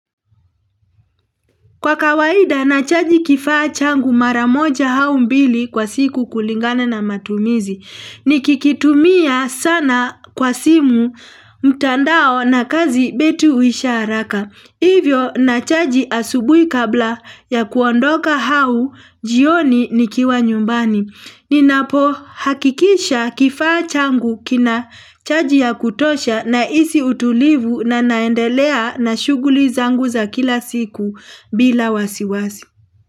Kwa kawaida nachaji kifaa changu mara moja au mbili kwa siku kulingana na matumizi, nikikitumia sana kwa simu mtandao na kazi betri huisha haraka, hivyo nachaji asubuhi kabla ya kuondoka au jioni nikiwa nyumbani. Ninapohakikisha kifaa changu kina chaji ya kutosha nahisi utulivu na naendelea na shughuli zangu za kila siku bila wasiwasi.